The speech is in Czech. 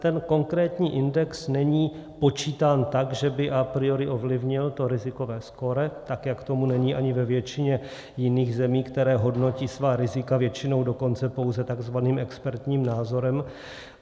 Ten konkrétní index není počítán tak, že by a priori ovlivnil to rizikové skóre, tak jak tomu není ani ve většině jiných zemí, které hodnotí svá rizika většinou dokonce pouze takzvaným expertním názorem.